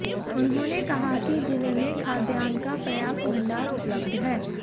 उन्होंने कहा कि जिले में खाद्यान का प्रर्याप्त भंडार उपलब्ध है